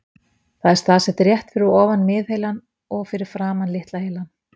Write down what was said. Það er staðsett rétt fyrir ofan miðheilann og fyrir framan litla heilann.